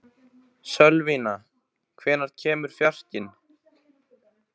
Sölvína, hvenær kemur fjarkinn?